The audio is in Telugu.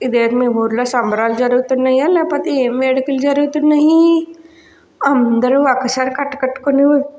ఇదేమో మీ ఊర్లో సంబరాలు జరుగుతున్నయ్య లేకపోతే ఏం వేడుకలు జరుగుతున్నాయి అందరూ ఒకసారి కట్టకట్టుకుని --